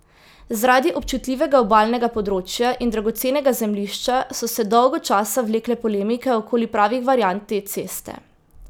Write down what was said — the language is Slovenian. Zaradi občutljivega obalnega področja in dragocenega zemljišča so se dolgo časa vlekle polemike okoli pravih variant te ceste.